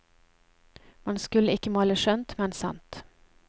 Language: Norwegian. Man skulle ikke male skjønt, men sant.